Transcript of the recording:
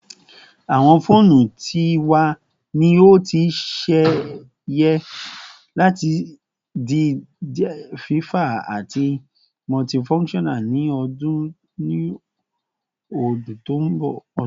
Awọn foonu ti wa ni o ti ṣe yẹ lati di diẹ fafa ati multifunctional ni odun to nbo